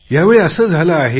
या वेळी असे झाले आहे